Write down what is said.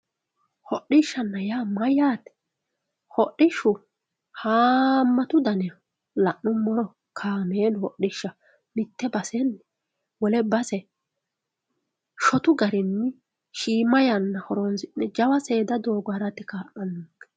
hodhishshanna yaa mayyaate hodhishshu haammatu dani no la'nummoro kaameelu hodhishshaho shotu garinni shiima yanna horonsi'ne seeda doogo harate kaa'lannonke.